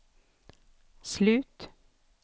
slut